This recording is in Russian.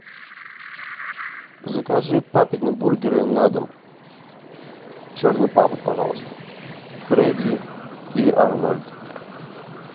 закажи папины бургеры на дом черный папа пожалуйста фредди и арнольд